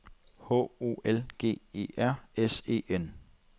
H O L G E R S E N